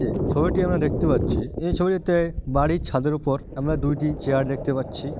এইযে ছবিটি আমরা দেখতে পাচ্ছি এই ছবিতে বাড়ির ছাদের উপর আমরা দুইটি চেয়ার দেখতে পাচ্ছি।